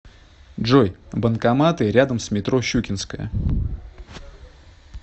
джой банкоматы рядом с метро щукинская